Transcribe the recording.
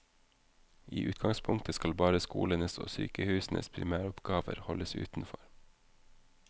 I utgangspunktet skal bare skolenes og sykehusenes primæroppgaver holdes utenfor.